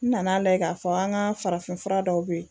N nana lajɛ k'a fɔ an ka farafinfura dɔw bɛ yen